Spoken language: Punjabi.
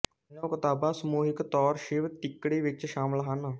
ਤਿੰਨੋਂ ਕਿਤਾਬਾਂ ਸਮੂਹਿਕ ਤੌਰ ਸ਼ਿਵ ਤਿੱਕੜੀ ਵਿੱਚ ਸ਼ਾਮਲ ਹਨ